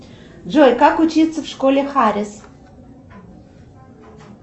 джой как учиться в школе харис